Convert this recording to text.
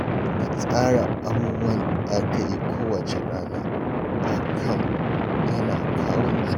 Ka tsara abubuwan da za ka yi kowacce rana, hakan yana kawo nutsuwa